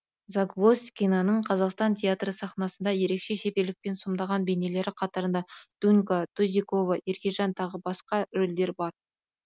загвоздкинаның қазақстан театры сахнасында ерекше шеберлікпен сомдаған бейнелері қатарында дунька тузикова еркежан тағы басқа рөлдер бар